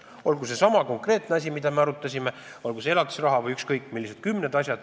Olgu see konkreetne asi, mida me siin arutasime, olgu see elatisraha või ükskõik millised kümned asjad.